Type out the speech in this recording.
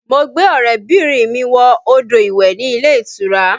Mo gbé ọrẹ bìnrin mi wọ odò ìwẹ̀ ní ilé ìtura